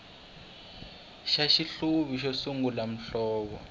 xa xihluvi xo sungula muhlovo